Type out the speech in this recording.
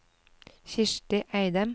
Kirsti Eidem